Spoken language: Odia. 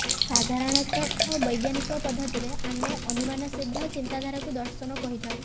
ସାଧାରଣତ ବୈଜ୍ଞାନିକ ପଦ୍ଧତି ରେ ଆମେ ଅନୁମାନସିଦ୍ଧ ଚିନ୍ତାଧାରା କୁ ଦର୍ଶନ କହିଥାଉ